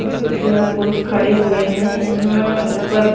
पुरुष खड़े हुए हैं यहां ऊपर--